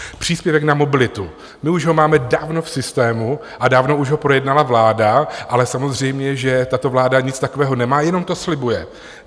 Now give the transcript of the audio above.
Příspěvek na mobilitu, my už ho máme dávno v systému a dávno už ho projednala vláda, ale samozřejmě že tato vláda nic takového nemá, jenom to slibuje.